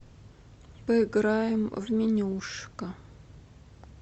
поиграем в менюшка